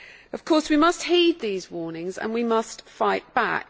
Of course we must heed these warnings and we must fight back.